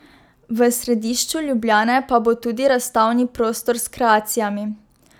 V središču Ljubljane pa bo tudi razstavni prostor s kreacijami.